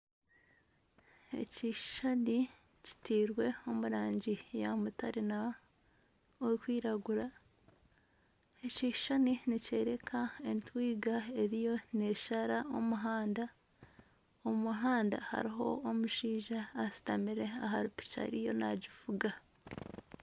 Ekishushani kitirwe omu rangi ya mutare n'erukwiragura . Ekishushani nikyoreka entwiga eriyo neshara omuhanda. Omu muhanda hariho omushaija ashutamire ahari piki ariyo nagivuga.